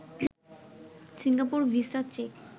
Singapore visa check